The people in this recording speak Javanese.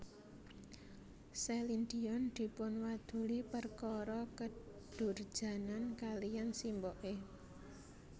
Celine Dion dipunwaduli perkara kedurjanan kaliyan simboke